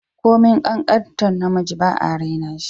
Komin kankantar namiji ba'a raina shi